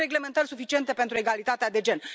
Avem reglementări suficiente pentru egalitatea de gen.